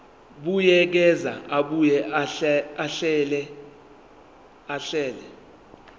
buyekeza abuye ahlele